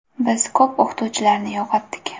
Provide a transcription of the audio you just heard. Biz ko‘p o‘qituvchilarni yo‘qotdik.